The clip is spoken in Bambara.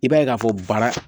I b'a ye k'a fɔ baara